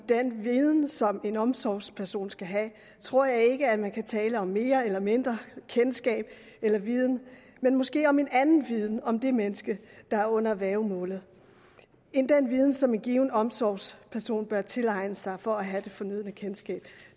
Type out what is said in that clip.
den viden som en omsorgsperson skal have tror jeg ikke at man kan tale om mere eller mindre kendskab eller viden men måske om en anden viden om det menneske der er under værgemålet end den viden som en given omsorgsperson bør tilegne sig for at have det fornødne kendskab